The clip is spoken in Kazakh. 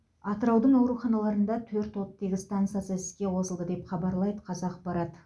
атыраудың ауруханаларында төрт оттегі стансасы іске қосылды деп хабарлайды қазақпарат